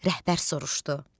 Rəhbər soruşdu: